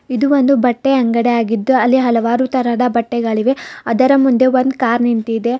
ಇದು ಒಂದು ಬಟ್ಟೆ ಅಂಗಡಿ ಆಗಿದ್ದು ಅಲ್ಲಿ ಹಲವಾರು ತರಹದ ಬಟ್ಟೆಗಳಿವೆ ಅದರ ಮುಂದೆ ಒಂದು ಕಾರ್ ನಿಂತಿದೆ.